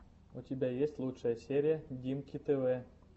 у тебя есть лучшая серия диммки тв